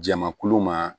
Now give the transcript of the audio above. Jamakulu ma